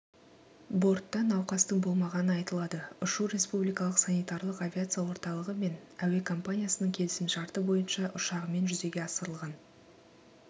бортта науқастың болмағаны айтылады ұшу республикалық санитарлық авиация орталығы мен әуекомпаниясының келісімшарты бойынша ұшағымен жүзеге асырылған